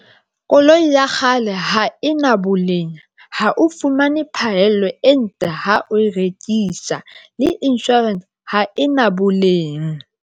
Koloi ya kgale ha e na boleng ha o fumane phahello e ntle, ha o e rekisa. Le insurance ha e na bolleng.